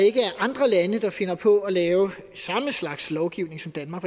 andre lande der finder på at lave samme slags lovgivning som danmark